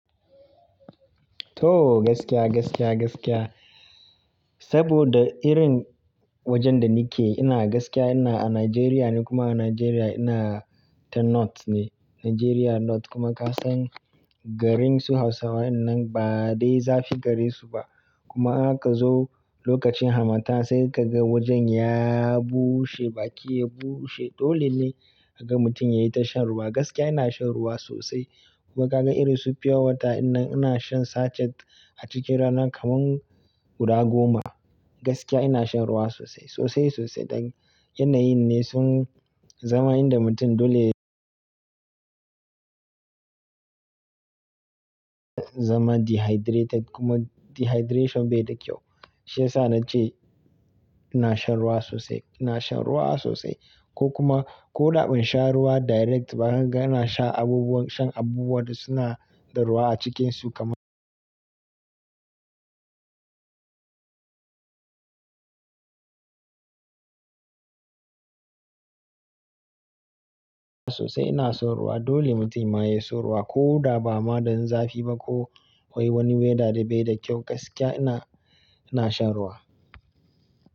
To gaskiya, gaskiya, gaskiya. Saboda irin wajen da ni ke ina gaskiya ina a Najeriya ne kuma a Najeriya ina ta North ne. Najeriya North kuma ka san garin su Hausawa wannan ba dai zafi gari su ba. Kuma ka zo lokacin hamata sai ka ga wajen ya bushe baki ya bushe. Dole ne ka ga mutum yayi ta shan ruwa. Gaskiya ina shan ruwa sosai. Kuma ka ga irin su pure water in nan ina shan sachet a cikin rana kaman guda goma. Gaskiya ina shan ruwa sosai, sosai sosai. Dan yanayi ne sun zama inda mutum dole zama dehydrated kuma dehydration bai da kyau. Shi yasa na ce ina shan ruwa sosai, ina shan ruwa sosai. Ko kuma ko da ban sha ruwa direct ba ka ga ina shan abubuwan, shan abubuwan da suna da ruwa a cikinsu kamar sosai ina son ruwa. Dole mutum ya yi son ruwa ko da ba ma dan zafi ba ko akwai wani weather da bai da kyau. Gaskiya ina, ina shan ruwa.